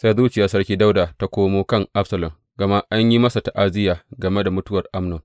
Sai zuciyar sarki Dawuda ya komo kan Absalom, gama an yi masa ta’aziyya game da mutuwar Amnon.